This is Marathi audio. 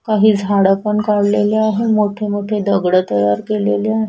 काही झाड पण काढलेले आहे मोठे मोठे दगड तयार केलेले आहे.